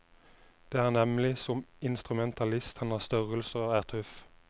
Det er nemlig som instrumentalist han har størrelse og er tøff.